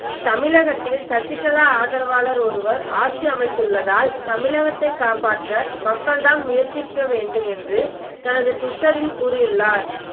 தமிழகத்தில் சசிகலா ஆதரவாளர் ஒருவர் ஆட்சி அமைத்துள்ளதால் தமிழகத்தை காப்பாற்ற மக்கள்தான் முயற்சிக்க வேண்டும் என்று தனது டுவிட்டரில் கூறியுள்ளார்